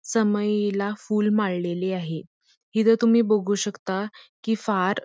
समईला फुल माळलेले आहे इथं तुम्ही बघू शकता कि फार --